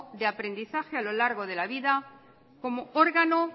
de aprendizaje a lo largo de la vida como órgano